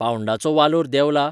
पाउंडाचो वालोर देंवला?